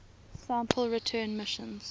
sample return missions